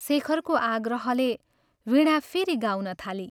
शेखरको आग्रहले वीणा फेरि गाउन थाली